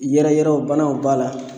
Yɛrɛyɛrɛw banaw b'a la